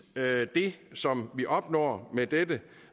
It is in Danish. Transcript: det som vi opnår med dette